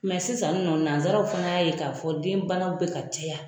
Mɛ sisan nɔ nanzsaraw fana y'a ye k'a fɔ den bana bɛ ka caya.